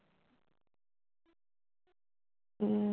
উম